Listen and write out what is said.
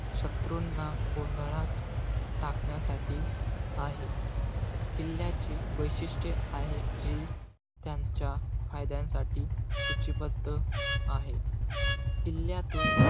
शत्रुंना गोंधळात टाकण्यासाठी आहे. किल्ल्याचे वैशिष्ट्य आहे कि, त्यांच्या फायद्यांसाठी सूचिबद्ध आहे. किल्ल्यातून,